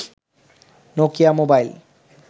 Nokia mobile